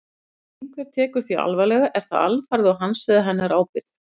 Ef einhver tekur því alvarlega er það alfarið á hans eða hennar eigin ábyrgð.